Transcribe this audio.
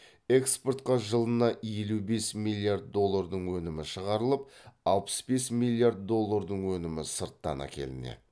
экспортқа жылына елу бес миллиард доллардың өнімі шығарылып алпыс бес миллард доллардың өнімі сырттан әкелінеді